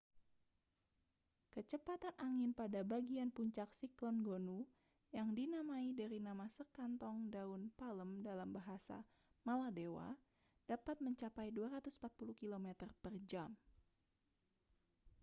kecepatan angin pada bagian puncak siklon gonu yang dinamai dari nama sekantong daun palem dalam bahasa maladewa dapat mencapai 240 kilometer per jam